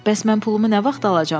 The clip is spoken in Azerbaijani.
Bəs mən pulumu nə vaxt alacam?